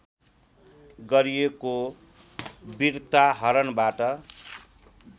गरिएको बिर्ता हरणबाट